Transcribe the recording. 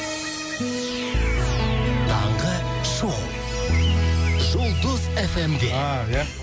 таңғы шоу жұлдыз эф эм де